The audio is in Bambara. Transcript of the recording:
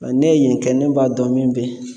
Ŋa nɛ yen kɛ ne b'a dɔn min be ye.